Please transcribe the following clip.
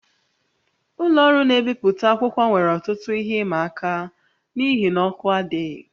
Ụlọ ọrụ na-ebipụta akwụkwọ nwere ọtụtụ ihe ịma aka n'ihi na ọkụ adịghị